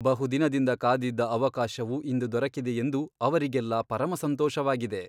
ಬಹುದಿನದಿಂದ ಕಾದಿದ್ದ ಅವಕಾಶವು ಇಂದು ದೊರಕಿದೆಯೆಂದು ಅವರಿಗೆಲ್ಲ ಪರಮಸಂತೋಷವಾಗಿದೆ.